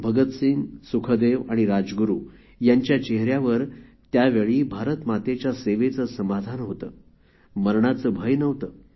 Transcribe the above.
भगतसिंग सुखदेव आणि राजगुरु यांच्या चेहेऱ्यावर त्यावेळी भारत मातेच्या सेवेचे समाधान होते मरणाचे भय नव्हते